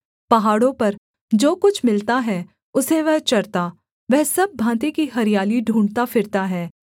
पहाड़ों पर जो कुछ मिलता है उसे वह चरता वह सब भाँति की हरियाली ढूँढ़ता फिरता है